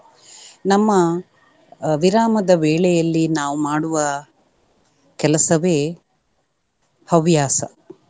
ನಮ್ಮ ಅಹ್ ವಿರಾಮದ ವೇಳೆಯಲ್ಲಿ ನಾವು ಮಾಡುವ ಕೆಲಸವೇ ಹವ್ಯಾಸ.